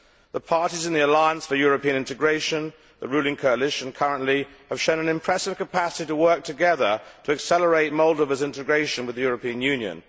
The parties in the Alliance for European Integration, the current ruling coalition, have shown an impressive capacity to work together to accelerate Moldova's integration with the European Union.